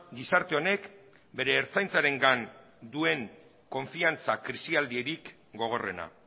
gizarte honek bere ertzaintzarengan duen konfiantza krisialdirik gogorrena